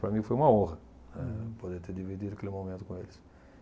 Para mim foi uma honra, eh poder ter dividido aquele momento com eles.